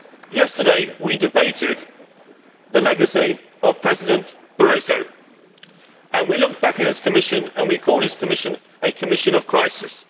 Yesterday we debated the legacy of President Barroso, and we looked back at his Commission and we called his Commission a Commission of crisis.